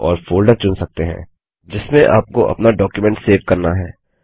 और फोल्डर चुन सकते हैं जिसमें आपको अपना डॉक्युमेंट सेव करना है